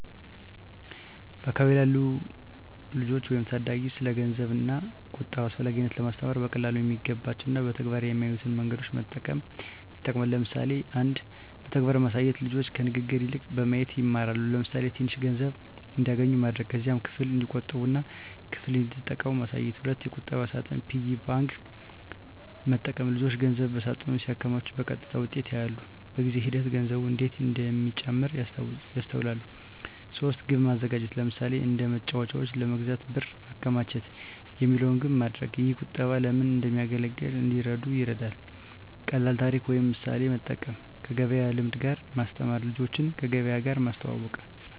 በአካባቢ ላሉ ልጆች ወይም ታዳጊ ስለ ገንዘብ ዋጋ እና ቁጠባ አስፈላጊነት ለማስተማር በቀላሉ የሚገባቸው እና በተግባር የሚያዩትን መንገዶች መጠቀም ይጠቅማል። ለምሳሌ 1. በተግባር ማሳየት ልጆች ከንግግር ይልቅ በማየት ይማራሉ። ለምሳሌ፣ ትንሽ ገንዘብ እንዲያገኙ ማድረግ። ከዚያም ክፍል እንዲቆጥቡ እና ክፍል እንዲጠቀሙ ማሳየት። 2. የቁጠባ ሳጥን (Piggy bank) መጠቀም ልጆች ገንዘብ በሳጥን ሲያከማቹ በቀጥታ ውጤቱን ያያሉ። በጊዜ ሂደት ገንዘቡ እንዴት እንደሚጨምር ያስተውላሉ። 3. ግብ ማዘጋጀት ለምሳሌ፣ “አንድ መጫወቻ ለመግዛት ብር ማከማቸት” የሚለውን ግብ ማድረግ። ይህ ቁጠባ ለምን እንደሚያገለግል እንዲረዱ ይረዳል። 4. ቀላል ታሪክ ወይም ምሳሌ መጠቀም 5. ከገበያ ልምድ ጋር ማስተማር ልጆችን ከገበያ ጋር ማስተዋወቅ።